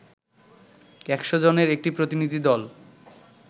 একশ জনের একটি প্রতিনিধি দল